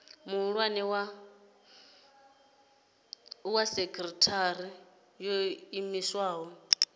muhulwane wa sekithara yo iimisaho